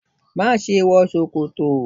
má ṣe wọ ṣòkòtò!